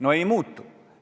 No ei tõsteta!